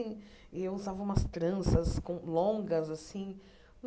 E eu usava umas tranças com longas assim.